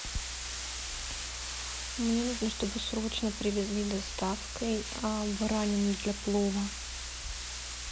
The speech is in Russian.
мне нужно чтобы срочно привезли доставкой баранину для плова